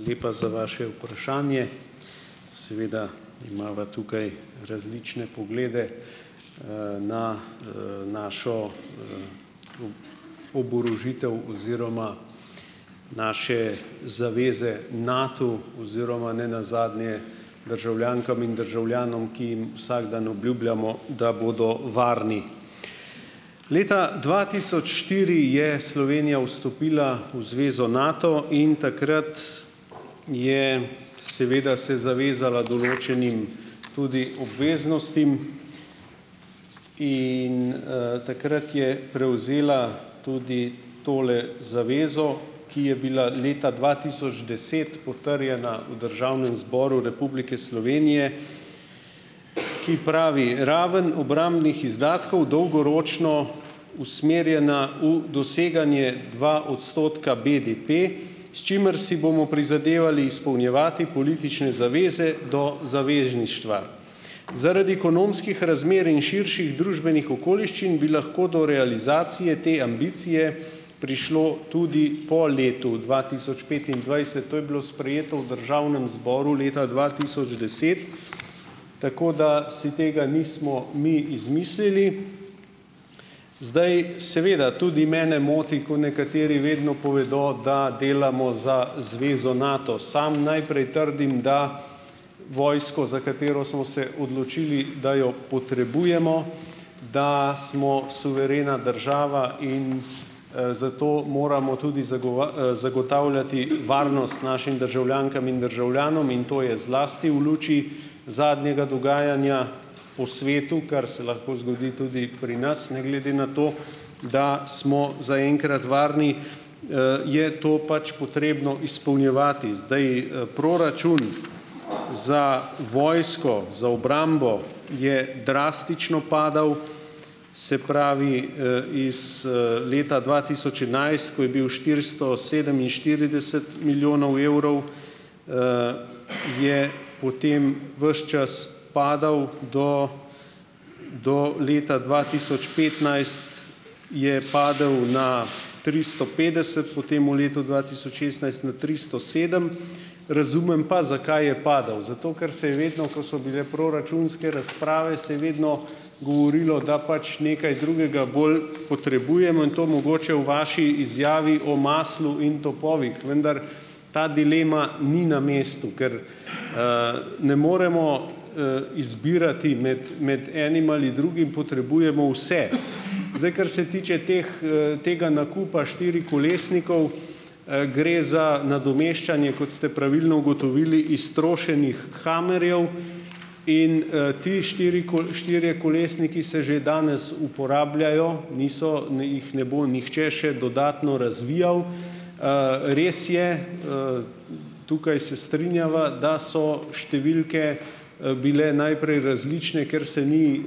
Hvala lepa za vaše vprašanje. Seveda imava tukaj različne poglede, na, našo, oborožitev oziroma naše zaveze Natu oziroma nenazadnje državljankam in državljanom, ki jim vsak dan obljubljamo, da bodo varni. Leta dva tisoč štiri je Slovenija vstopila v Zvezo Nato in takrat je seveda se zavezala določenim, tudi obveznostim in, takrat je prevzela tudi tole zavezo, ki je bila leta dva tisoč deset potrjena v Državnem zboru Republike Slovenije, ki pravi: "Raven obrambnih izdatkov dolgoročno usmerjena v doseganje dva odstotka BDP, s čimer si bomo prizadevali izpolnjevati politične zaveze do zavezništva. Zaradi ekonomskih razmer in širših družbenih okoliščin bi lahko do realizacije te ambicije prišlo tudi po letu dva tisoč petindvajset." To je bilo sprejeto v državnem zboru leta dva tisoč deset, tako da si tega nismo mi izmislili. Zdaj, seveda, tudi mene moti, ko nekateri vedno povedo, da delamo za Zvezo Nato. Sam najprej trdim, da vojsko, za katero smo se odločili, da jo potrebujemo, da smo suverena država in, zato moramo tudi zagotavljati varnost našim državljankam in državljanom in to je zlasti v luči zadnjega dogajanja po svetu, kar se lahko zgodi tudi pri nas, ne glede na to, da smo zaenkrat varni, je to pač potrebno izpolnjevati. Zdaj, proračun za vojsko, za obrambo je drastično padal, se pravi, iz, leta dva tisoč enajst, ko je bil štiristo sedeminštirideset milijonov evrov, je potem ves čas padal do do leta dva tisoč petnajst, je padel na tristo petdeset, potem v letu dva tisoč šestnajst na tristo sedem. Razumem pa, zakaj je padal. Zato ker se je vedno, ko so bile proračunske razprave, se je vedno govorilo, da pač nekaj drugega bolj potrebujemo in to mogoče v vaši izjavi o maslu in topovih, vendar ta dilema ni na mestu, ker, ne moremo, izbirati med med enim ali drugim, potrebujemo vse. Zdaj, kar se tiče teh, tega nakupa štirikolesnikov, gre za nadomeščanje, kot ste pravilno ugotovili, iztrošenih hammerjev in, ti štirikolesniki se že danes uporabljajo. Niso - jih ne bo nihče še dodatno razvijal. res je - tukaj se strinjava, da so številke, bile najprej različne, ker se ni,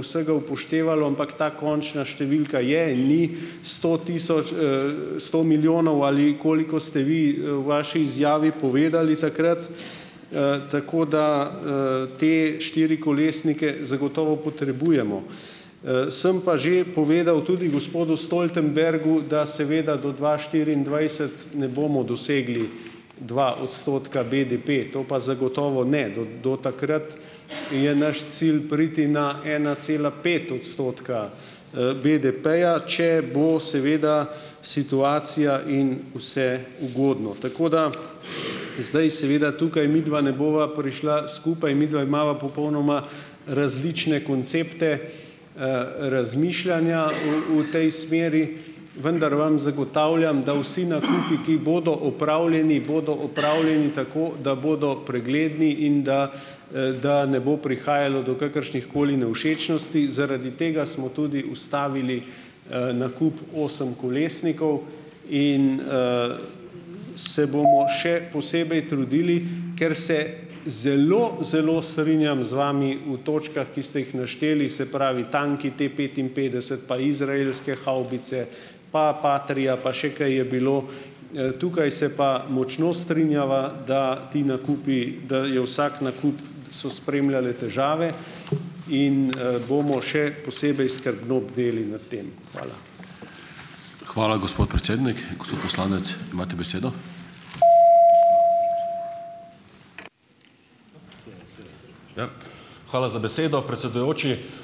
vsega upoštevalo, ampak ta končna številka je in ni sto tisoč, sto milijonov, ali koliko ste vi, v vaši izjavi povedali takrat. tako da, te štirikolesnike zagotovo potrebujemo. sem pa že povedal tudi gospodu Stoltenbergu, da seveda do dva štiriindvajset ne bomo dosegli dva odstotka BDP. To pa zagotovo ne. Do do takrat je naš cilj priti na ena cela pet odstotka, BDP-ja, če bo seveda situacija in vse ugodno. Tako da zdaj seveda tukaj midva ne bova prišla skupaj. Midva imava popolnoma različne koncepte, razmišljanja o o tej smeri. Vendar vam zagotavljam, da vsi nakupi, ki bodo opravljeni, bodo opravljeni tako, da bodo pregledni in da, da ne bo prihajalo do kakršnihkoli nevšečnosti. Zaradi tega smo tudi ustavili, nakup osemkolesnikov. In, se bomo še posebej trudili, ker se zelo, zelo strinjam z vami v točkah, ki ste jih našteli - se pravi, tanki, T-petinpetdeset pa izraelske havbice pa Patria pa še kaj je bilo. Tukaj se pa močno strinjava, da ti nakupi - da je vsak nakup - da so spremljale težave. In bomo še posebej skrbno bdeli nad tem. Hvala.